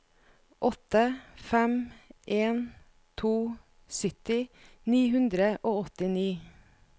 åtte fem en to sytti ni hundre og åttini